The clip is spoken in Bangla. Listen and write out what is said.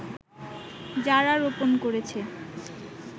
যারা রোপন করেছে